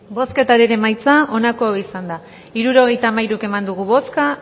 bozketaren emaitza onako izan da hirurogeita hamairu eman dugu bozka